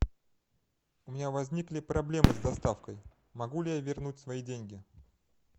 у меня возникли проблемы с доставкой могу ли я вернуть свои деньги